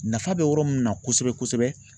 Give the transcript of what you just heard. Nafa bɛ yɔrɔ min na kosɛbɛ kosɛbɛ.